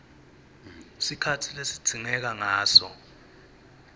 sikhatsi lesidzingeka ngaso